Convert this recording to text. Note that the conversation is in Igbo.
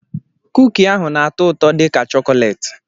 Kuki ahụ na-atọ ụtọ dị ka chọkọleeti.